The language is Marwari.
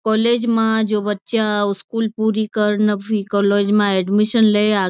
कॉलेज मा जो बच्चा स्कूल पूरी कर नवी कॉलेज में अड्मिशन ले आ --